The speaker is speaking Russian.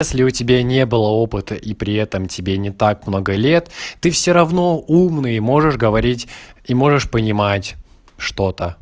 если у тебя не было опыта и при этом тебе не так много лет ты все равно умный можешь говорить и можешь понимать что та